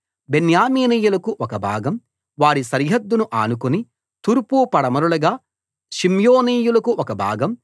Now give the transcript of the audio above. బెన్యామీనీయులకు ఒక భాగం వారి సరిహద్దును ఆనుకుని తూర్పు పడమరలుగా షిమ్యోనీయులకు ఒక భాగం